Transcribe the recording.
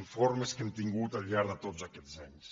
informes que hem tingut al llarg de tots aquests anys